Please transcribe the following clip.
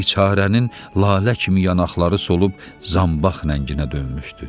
Biçarənin lalə kimi yanaqları solub zanbaq rənginə dönmüşdü.